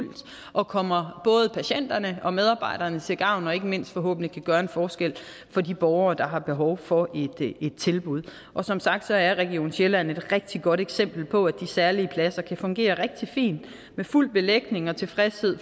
og kommer både patienterne og medarbejderne til gavn og ikke mindst forhåbentlig kan gøre en forskel for de borgere der har behov for et tilbud og som sagt er region sjælland et rigtig godt eksempel på at de særlige pladser kan fungere rigtig fint med fuld belægning og tilfredshed